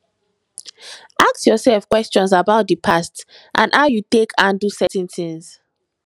ask yourself questions about di past and how you take handle certain things